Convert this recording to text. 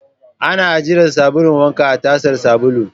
Ana ajiyar sabulu wank a tasar sabulu.